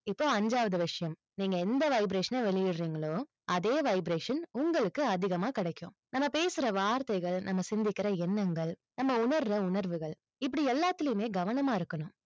இப்போஅஞ்சாவது விஷயம். நீங்க எந்த vibration ன வெளியிடுறீங்களோ, அதே vibration உங்களுக்கு அதிகமா கிடைக்கும். நம்ம பேசுற வார்த்தைகள், நம்ம சிந்திக்கிற எண்ணங்கள், நம்ம உணர்ற உணர்வுகள், இப்படி எல்லாத்துலயுமே கவனமா இருக்கணும்.